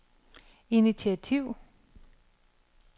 initiativ